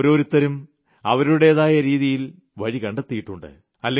ഓരോത്തരും അവരുവരുടേതായ രീതിയിൽ വഴി കണ്ടെത്തിയിട്ടുണ്ട്